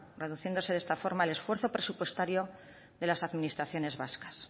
reduciéndose de esta forma el esfuerzo presupuestario de las administraciones vascas